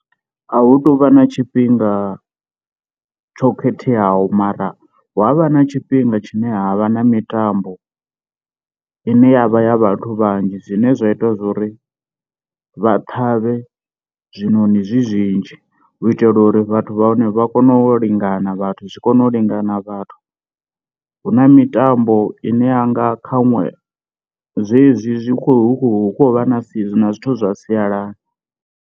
A hu tuvha na tshifhinga tsho khetheaho mara hu avha na tshifhinga tshine ha vha na mitambo ine yavha ya vhathu vhanzhi zwine zwa ita zwori vha ṱhavhe zwinoni zwi zwinzhi u itela uri vhathu vha hone vha kone u lingana vhathu zwi kone u lingana vhathu, hu na mitambo ine yanga khanwe zwezwi zwi khou vha na na zwithu zwa sialala.